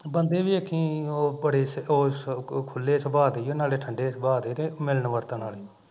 ਬੰਦੇ ਵੇਖੀ ਉਹ ਬੜੇ ਉਹ ਉਹ ਖੁੱਲੇ ਸੁਬਾ ਦੇ ਈ ਓ ਨਾਲੇ ਠੰਡੇ ਸੁਬਾ ਦੇ ਤੇ ਮਿਲਣ ਵਰਤਣ ਆਲੇ